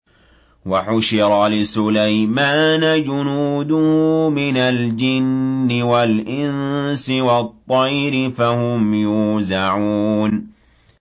وَحُشِرَ لِسُلَيْمَانَ جُنُودُهُ مِنَ الْجِنِّ وَالْإِنسِ وَالطَّيْرِ فَهُمْ يُوزَعُونَ